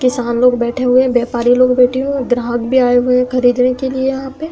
किसान लोग बैठे हुए हैं। व्यापारी लोग बैठे हुए है। ग्राहक भी आये हुए है खरीदने के लिए यहा पे।